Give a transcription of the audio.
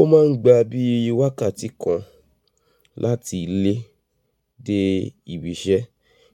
Ó máa ń gba bí wákàtí kan láti ilé dé ibi iṣẹ́